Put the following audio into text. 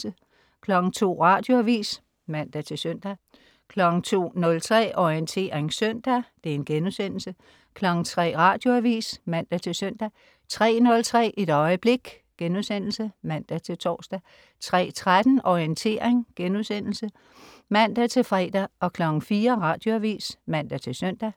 02.00 Radioavis (man-søn) 02.03 Orientering søndag* 03.00 Radioavis (man-søn) 03.03 Et øjeblik* (man-tors) 03.13 Orientering* (man-fre) 04.00 Radioavis (man-søn)